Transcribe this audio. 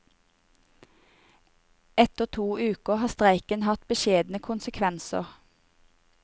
Etter to uker har streiken hatt beskjedne konsekvenser.